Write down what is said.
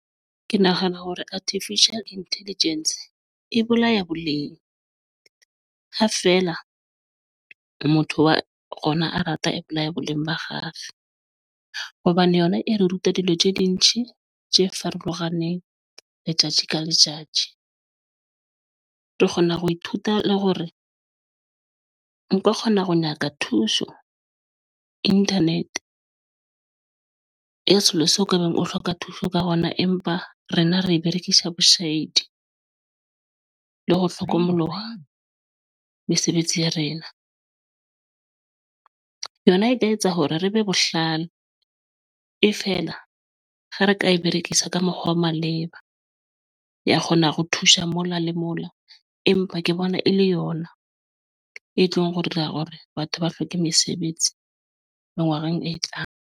Ke nahana hore Artificial Intelligence e bolaya boleng ha feela motho wa rona a rata apply-a boleng ba ha kgale hobane yona e re ruta dilo sidinge tje farologaneng. Letjatji ka letjatji ng? Ke kgona ho ithuta le hore nka kgona ho nyaka thuso internet-rng ya sekolo seo ka beng o hloka thuso ka hona. Empa rena re berekisa boshedi ng le ho hlokomoloha mesebetsi ya rena. Yona e ka etsa hore re be bohlale e fela ha re ka e berekisa ka mokgwa wa maleba ya kgona ho thusa mola le mola, empa ke bona e le yona e tlong ho dira hore batho ba hlweke mesebetsi mengwa reng e tlang.